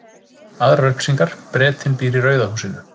Aðrar upplýsingar: Bretinn býr í rauða húsinu.